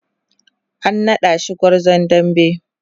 an naɗa shi gwarzon dambe